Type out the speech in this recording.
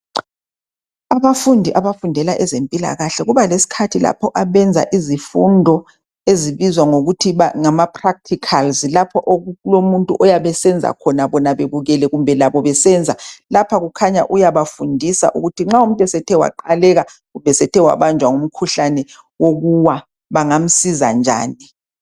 Abafundi abafundela ezempilakahle kubalesikhathi lapho abenza izifundo ezibizwa ngokuthi ngama practicals lapho okulomuntu oyabe esenza khona bona bebukele kumbe labo besenza. Lapha kukhanya uyabafundisa ukuthi nxa umuntu esethe waqaleka kumbe esethe wabanjwa ngumkhahlane wokuwa bangamsiza njani